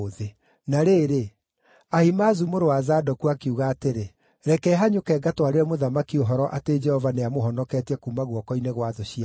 Na rĩrĩ, Ahimaazu mũrũ wa Zadoku akiuga atĩrĩ, “Reke hanyũke ngatwarĩre mũthamaki ũhoro atĩ Jehova nĩamũhonoketie kuuma guoko-inĩ gwa thũ ciake.”